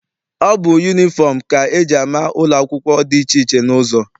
Ọ bụ yunifọm ka eji ama ụlọ akwụkwọ dị iche iche n'ụzọ.